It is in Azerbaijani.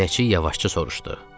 Binneçiy yavaşca soruşdu.